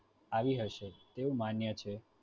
આવી હશે તેવું માન્ય છે